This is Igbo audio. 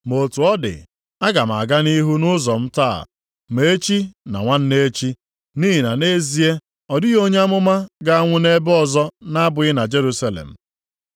Ma otu ọ dị, aga m aga nʼihu nʼụzọ m taa, na echi na nwanne echi, nʼihi na nʼezie, ọ dịghị onye amụma ga-anwụ nʼebe ọzọ na-abụghị na Jerusalem.